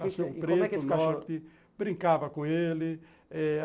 Cachorro preto, norte, brincava com ele.